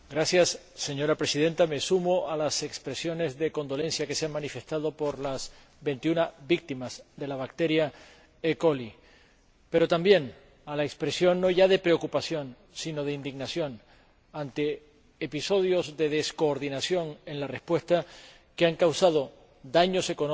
Señora Presidenta, me sumo a las expresiones de condolencia que se han manifestado por las veintiuna víctimas de la bacteria pero también a la expresión no ya de preocupación, sino de indignación ante episodios de descoordinación en la respuesta que han causado daños económicos